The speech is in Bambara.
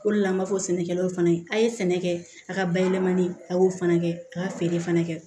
O de la an b'a fɔ sɛnɛkɛlaw fana ye a ye sɛnɛ kɛ a ka bayɛlɛmani a y'o fana kɛ k'a feere fana kɛ